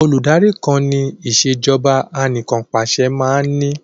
Olùdarí kan ni ìsèjọba anìkanpàṣẹ máa ní